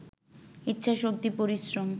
ইচ্ছাশক্তি, পরিশ্রম